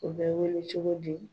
U bɛ wele cogo di ?